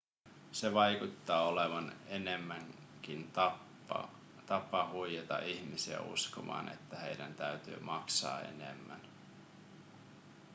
se vaikuttaa olevan enemmänkin tapa huijata ihmisiä uskomaan että heidän täytyy maksaa enemmän